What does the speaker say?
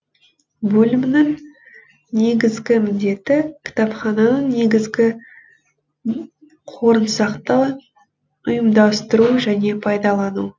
бөлімнің негізгі міндеті кітапхананың негізгі қорын сақтау ұйымдастыру және пайдалану